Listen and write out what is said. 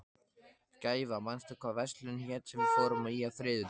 Gæfa, manstu hvað verslunin hét sem við fórum í á þriðjudaginn?